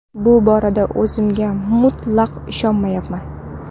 Bu borada o‘zimga mutlaq ishonyapman”.